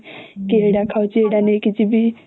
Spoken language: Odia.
ଏଇଟା ନେଇକି ଯିବି